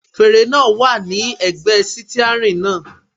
Fèrè náà wà ní ẹ̀gbẹ́ sítíárìn náà.